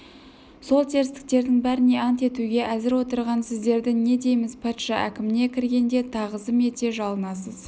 сол терістіктердің бәріне ант етуге әзір отырған сіздерді не дейміз патша әкіміне кіргенде тағзым ете жалынасыз